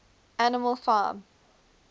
animal farm